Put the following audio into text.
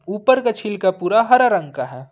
ऊपर का छिलका पूरा हरा रंग का है।